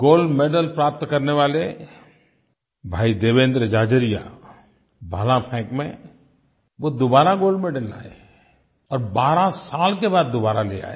gold medal प्राप्त करने वाले भाई देवेन्द्र झाझरिया भाला फेंक में वो दुबारा गोल्ड मेडल लाए और 12 साल के बाद दुबारा ले आए